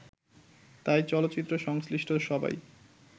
তাই চলচ্চিত্র সংশ্লিষ্ট সবাই